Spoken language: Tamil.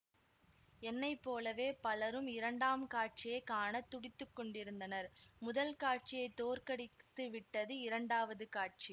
என்னை போலவே பலரும் இரண்டாம் காட்சியை காண துடித்து கொண்டிருந்தனர் முதல் காட்சியைத் தோற்கடித்துவிட்டது இரண்டாவது காட்சி